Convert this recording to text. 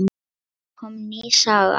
Svo kom ný saga.